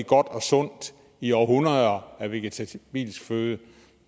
godt og sundt i århundreder af vegetabilsk føde